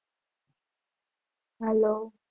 હાલો